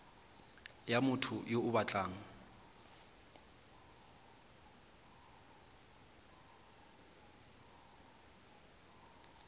ya motho yo o batlang